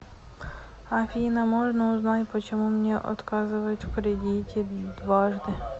афина можно узнать почему мне отказывают в кредите дважды